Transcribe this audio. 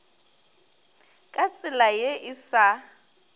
ka tsela ye e sa